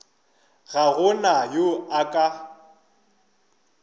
ga go na yo a